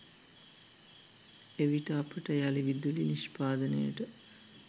එවිට අපට යළි විදුලි නිෂ්පාදනයට